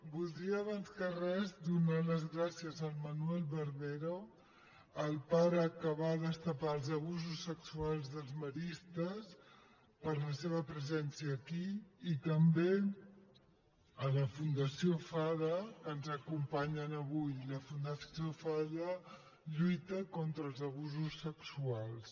voldria abans que res donar les gràcies al manuel barbero el pare que va destapar els abusos sexuals dels maristes per la seva presència aquí i també a la fundació fada que ens acompanyen avui la fundació fada lluita contra els abusos sexuals